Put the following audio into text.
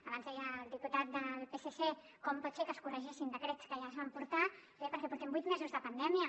abans deia el diputat del psc com pot ser que es corregeixin decrets que ja es van portar bé perquè portem vuit mesos de pandèmia